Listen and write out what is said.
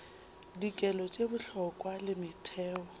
dikelo tše bohlokwa le metheo